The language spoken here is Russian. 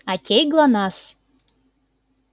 окей глонассс